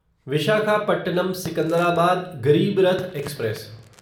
Visakhapatnam Secunderabad Garib Rath express